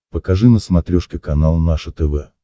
покажи на смотрешке канал наше тв